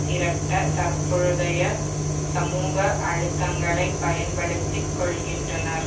திரட்ட தற்பொழுதைய சமூக அழுத்தங்களைப் பயன்படுத்தி கொள்கின்றனர்